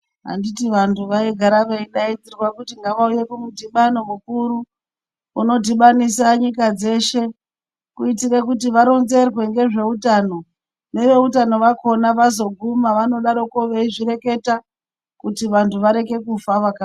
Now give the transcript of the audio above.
Anditi vantu vaigara veidaidzirwa kuti ngavauye kumudhibano mukuru. Unodhibanisa nyika dzeshe kuitira kuti varonzerwe ngezveutano. Neveutano vakona vazoguma vanodaroko veizvireketa kuti vantu vareke kufa vaka...